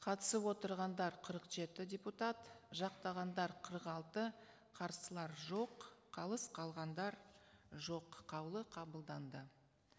қатысып отырғандар қырық жеті депутат жақтағандар қырық алты қарсылар жоқ қалыс қалғандар жоқ қаулы қабылданды